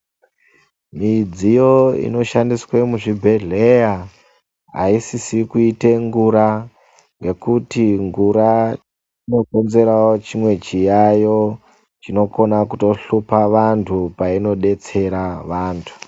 Midziyo ino shandiswe mu zvibhedhleya ayi sisi kuite ngura ngekuti ngura ino konzerawo chimwe chiyayo chino kona kuto hlupa vantu paino detsera vantu.